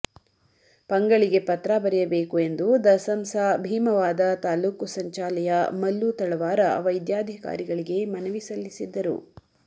ಪಂಗಳಿಗೆ ಪತ್ರ ಬರೆಯಬೇಕು ಎಂದು ದಸಂಸ ಭೀಮವಾದ ತಾಲೂಕ ಸಂಚಾಲಯ ಮಲ್ಲು ತಳವಾರ ವೃದ್ಯಾಧಿಕಾರಿಗಳಿಗೆ ಮನವಿ ಸಲ್ಲಿಸಿದ್ದರು